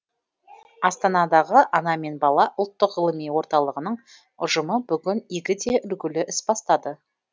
астанадағы ана мен бала ұлттық ғылыми орталығының ұжымы бүгін игі де үлгілі іс бастады